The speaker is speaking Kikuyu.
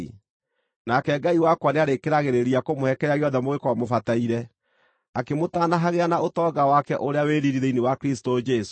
Nake Ngai wakwa nĩarĩkĩragĩrĩria kũmũhe kĩrĩa gĩothe mũngĩkorwo mũbataire, akĩmũtanahagĩra na ũtonga wake ũrĩa wĩ riiri thĩinĩ wa Kristũ Jesũ.